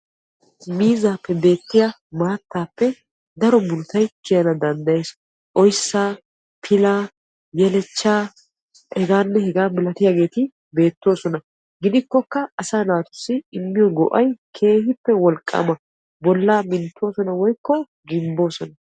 miizzaappe beettiya maattaappe daro murutay kiyana danddayes. oyissaa, pila, yelechcha hegaanne hegaa malatiyageeti beettoosona. gidikkokka asaa naatussi immiyo go'ay keehippe wolqqaama bollaa minttoosona woyikko gimbboosona.